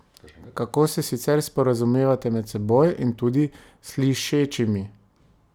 Kako se sicer sporazumevate med seboj in tudi s slišečimi?